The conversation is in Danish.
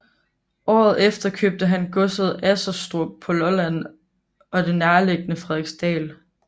Året efter købte han godset Asserstrup på Lolland og det nærliggende Frederiksdal